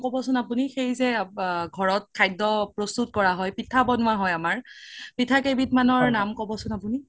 ক্'বচোন আপুনি সেই যে ঘৰত খাদ্য প্ৰস্তুত কৰা হয় পিঠা বনুৱা হয় আমাৰ পিঠা কেই বিধ মানৰ নাম ক্'বচোন আপোনি